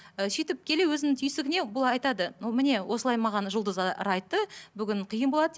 і сөйтіп келе өзінің түйсігіне бұл айтады міне осылай маған жұлдыздар айтты бүгін қиын болады деп